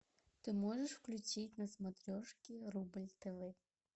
ты можешь включить на смотрешке рубль тв